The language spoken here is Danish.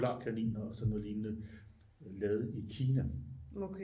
Polarkaniner og sådan noget lignende lavet i Kina